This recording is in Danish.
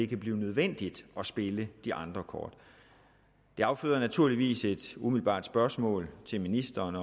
kan blive nødvendigt at spille de andre kort det afføder naturligvis et umiddelbart spørgsmål til ministeren